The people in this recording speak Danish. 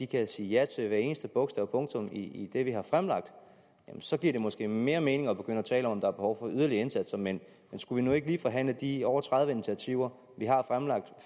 kan sige ja til hvert eneste bogstav og punktum i det vi har fremlagt så giver det måske mere mening at begynde tale om at der er behov for yderligere indsatser men skulle vi nu ikke lige forhandle de over tredive initiativer vi har fremlagt